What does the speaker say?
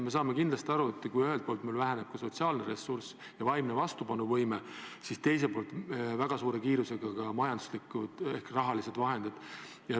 Me saame aru, et kui ühelt poolt vähenevad sotsiaalne ressurss ja vaimne vastupanuvõime, siis teiselt poolt vähenevad väga suure kiirusega majanduslikud vahendid, sh raha.